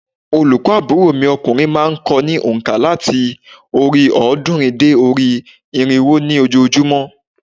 Olùkọ́ àbúrò mi okùnrin má a n ko ní ònkà láti orí òódúnrín dé orí irínwó ní ojoojúmó